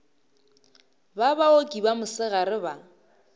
ba baoki ba mosegare ba